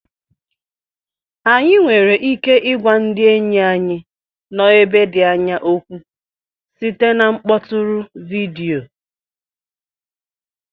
Anyị nwere ike ịgwa ndị enyi anyị nọ ebe dị anya okwu site na mkpọtụrụ vidiyo